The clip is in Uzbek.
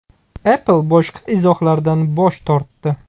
Apple boshqa izohlardan bosh tortdi.